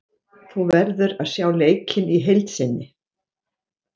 Þú verður að sjá leikinn í heild sinni.